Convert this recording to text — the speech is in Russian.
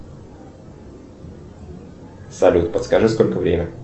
салют подскажи сколько время